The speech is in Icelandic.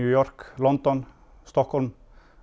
York London og Stokkhólms